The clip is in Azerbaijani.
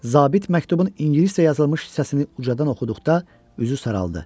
Zabit məktubun ingiliscə yazılmış hissəsini ucadan oxuduqda üzü saraldı.